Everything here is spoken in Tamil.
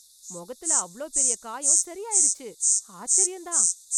முகத்துல அவ்ளோ பெரிய காயம் செறி ஆயிருச்சு ஆச்சரியம் தான்